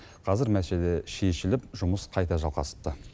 қазір мәселе шешіліп жұмыс қайта жалғасыпты